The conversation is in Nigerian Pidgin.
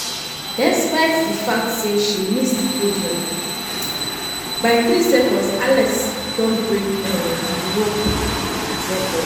despite di fact say she miss di podium (medal zone) (medal zone) by 3 seconds alice don break um di european record.